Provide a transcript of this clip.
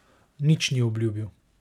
Nič ni obljubil.